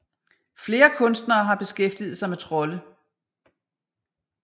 Flere kunstnere har beskæftiget sig med trolde